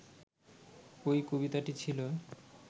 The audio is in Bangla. ওই কবিতাটি ছিল